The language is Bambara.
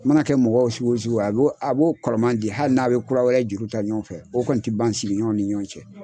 A ma na kɛ mɔgɔ sugu wo sugu ye a b'o kɔrɔman di hali n'an be kura wɛrɛ juru ta ɲɔgɔn fɛ , o kɔni te ban sigiɲɔgɔnw ni ɲɔgɔn cɛ.